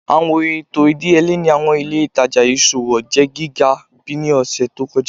Awọn eto idiyele ni awọn ile itaja iṣowo jẹ giga bi ni ọsẹ to kọja